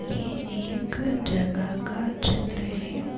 ये एक जगह का चित्र है।